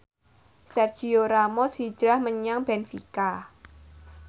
Sergio Ramos hijrah menyang benfica